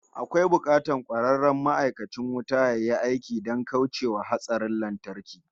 Akwai bukatar kwararren ma'aikacin wuta yayi aiki don kauce wa hatsarin lantarki